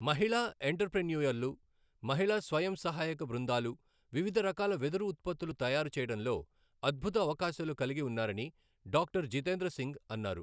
మహిళా ఎంటర్ ప్రెన్యుయర్లు, మహిళా స్వయంసహాయక బృందాలు వివిధ రకాల వెదురు ఉత్పత్తులు తయారు చేయడంలో అద్భుత అవకాశాలు కలిగి ఉన్నారని డాక్టర జితేంద్ర సింగ్ అన్నారు.